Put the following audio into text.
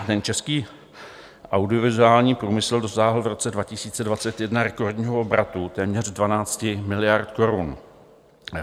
Český audiovizuální průmysl dosáhl v roce 2021 rekordního obratu téměř 12 miliard korun.